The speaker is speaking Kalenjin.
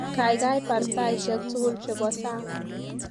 Kaikai bar taishek tukul chebo sang